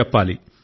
చెప్పాలి